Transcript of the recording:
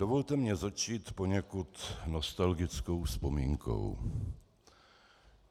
Dovolte mně začít poněkud nostalgickou vzpomínkou.